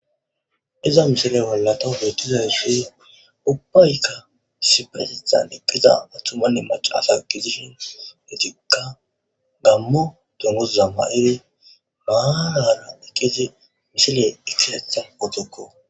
Iza mishile wollato bettiza yisuy ubbaykka siperesidan eqqiza athtumanne mac asa gizishin etika gammo dunguza ma'iri maaana eqqizi misile ikisetha otukko